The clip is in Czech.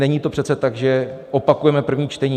Není to přece tak, že opakujeme první čtení.